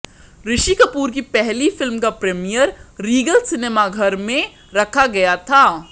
ऋषि कपूर की पहली फिल्म का प्रीमियर रीगल सिनेमाघर में रखा गया था